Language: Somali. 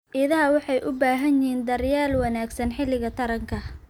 Idaha waxay u baahan yihiin daryeel wanaagsan xilliga taranka.